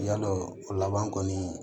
Yadɔ o laban kɔni